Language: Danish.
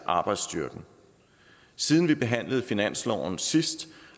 arbejdsstyrken siden vi behandlede finansloven sidst